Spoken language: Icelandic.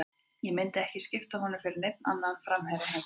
Ég myndi ekki skipta honum fyrir neinn annan framherja heimsins.